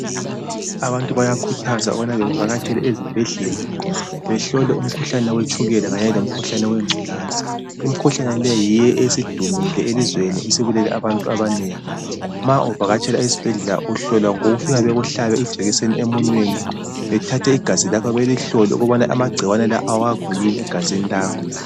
Abantu bayakhuthazwa ukuba bevakatshele esibhedlela behlolwe umkhuhlane we tshukela kanye lowe ngculaza, imkhuhlane leyi yiyo esidumile elizweni esibulele abantu abanengi, bethathe igazi lakho belihlole ukuba amagcikwane lawa awakho yini egazini lakho